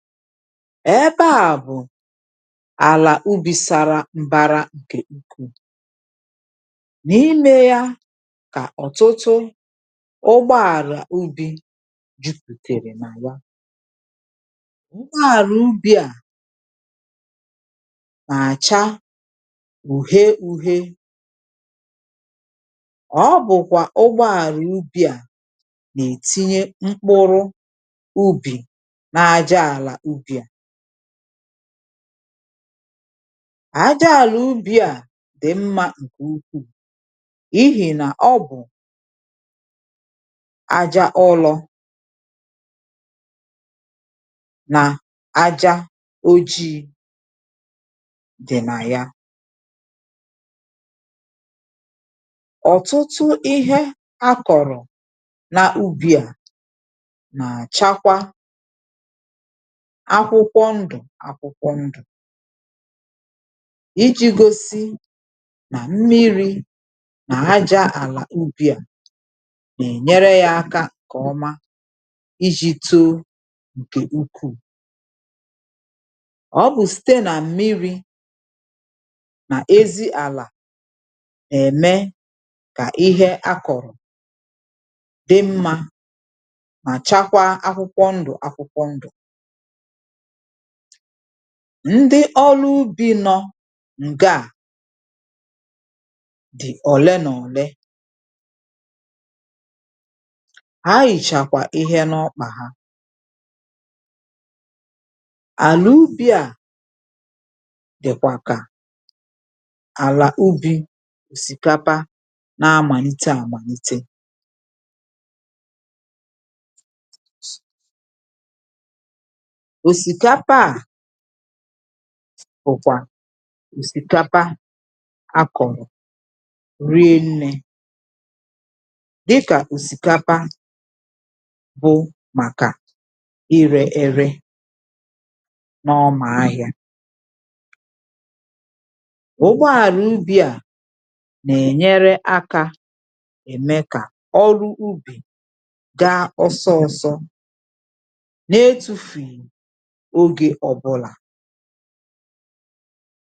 èbe à bụ̀ àlà ubi̇ sara mbara ǹkè ukwuu, n’ime ya kà ọ̀tụtụ ụgbọàrà ubi̇ jupùtèrè nà.ụgbọàrà ubi̇ à nà-àcha uhie uhie, ọ bụ̀kwà ụgbọàrà ubi̇ à nà-ètinye mkpụrụ àjà, àlà ubì a dì mmȧ ǹkè ukwu̇ ihi̇ nà ọ bụ̀ aja ụlọ̇ nà aja ojii̇ dì nà ya. ọ̀tụtụ ihe a kọ̀rọ̀ nà ubì a nàchakwa akwụkwọ ndù akwụkwọ ndù iji̇ gosi na mmiri̇ na aja àlà ubì a na-ènyere yȧ aka kà ọma iji̇ too ǹkè ukwuu ọ bụ̀ site nà mmiri̇ nà ezi àlà ème kà ihe akọ̀rọ̀ di mmȧ mà chakwa akwụkwọ ndù akwụkwọ ndù. ndị ọrụ ubi nọ ǹgaa dị̀ ọ̀le na ọle ha hichakwa ihe na ọkpà ha àlà ubi à dị̀kwàkà àlà ubi̇ òsìkapa na-amàlite, àmàlite ùsìkapa à òkwà ùsìkapa a kọ̀rọ̀ rie nni̇ dịkà ùsìkapa bụ màkà irė erė n’ọmà ahịȧ ụgbọàrà ubi̇ à nà-ènyere akȧ ème kà ọrụ ubì ga ọsọọ̇sọ̇ na etụfughị ọge ọbula.